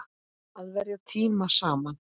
Að verja tíma saman.